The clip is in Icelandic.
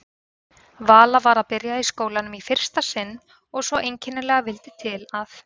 Vala var að byrja í skólanum í fyrsta sinn og svo einkennilega vildi til að